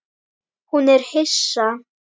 Hún er hissa.